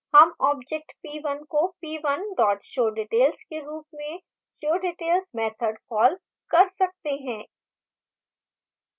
हम object p1 को p1 showdetails के रूप में showdetails मैथड कॉल कर सकते हैं